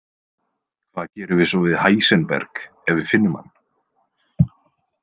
Hvað gerum við svo við Heisenberg ef við finnum hann?